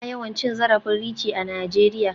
Ana yawan cin zarafin Richie a Najeriya.